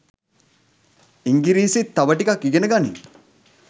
ඉංගිරිසිත් තව ටිකක් ඉගෙන ගනින්